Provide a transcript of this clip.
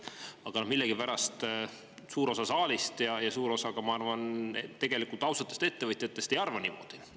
Aga millegipärast suur osa saalist ja suur osa, ma arvan, tegelikult ausatest ettevõtjatest ei arva niimoodi.